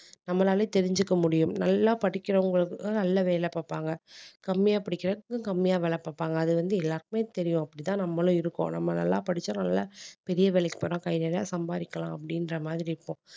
நம்மளாலே தெரிஞ்சுக்க முடியும் நல்லா படிக்கிறவங்களுக்கும் நல்ல வேலை பார்ப்பாங்க கம்மியா படிக்கிறதுக்கும் கம்மியா வேலை பார்ப்பாங்க அது வந்து எல்லாருக்குமே தெரியும் அப்படித்தான் நம்மளும் இருக்கோம் நம்ம நல்லா படிச்சோம் நல்லா பெரிய வேலைக்கு போனா கை நிறைய சம்பாரிக்கலாம் அப்படின்ற மாதிரி இருப்போம்